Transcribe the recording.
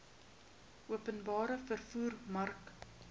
openbare vervoer mark